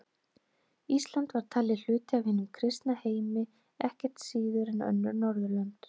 Ísland var talið hluti af hinum kristna heimi ekkert síður en önnur Norðurlönd.